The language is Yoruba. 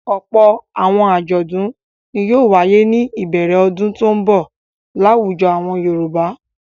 Ọ̀pọ̀ àwọn àjọ̀dún ni yóò wáyé ní ìbẹ̀rẹ̀ ọdún tó ń bọ̀ láwùjọ àwọn Yorùbá.